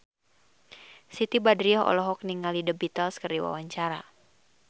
Siti Badriah olohok ningali The Beatles keur diwawancara